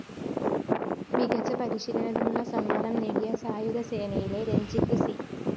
മികച്ച പരിശീലനത്തിനുള്ള സമ്മാനം നേടിയ സായുധ സേനയിലെ രഞ്ജിത് സി